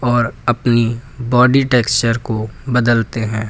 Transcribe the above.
और अपनी body texture को बदलते हैं।